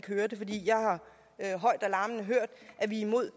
hørt at vi er imod